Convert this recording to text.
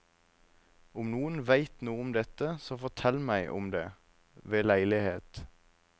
Om noen veit noe om dette, så fortell meg om det ved leilighet.